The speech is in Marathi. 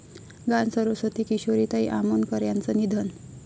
गानसरस्वती किशोरीताई आमोणकर यांचं निधन